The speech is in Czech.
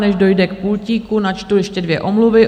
Než dojde k pultíku, načtu ještě dvě omluvy.